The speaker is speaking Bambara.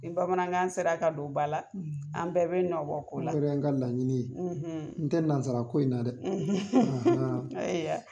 Nin bamanankan sera ka don ba la an bɛɛ bɛ nɔbɔ ko la o yɛrɛ y'an ka laɲini ye n tɛ nansarako in na dɛ! ayiya.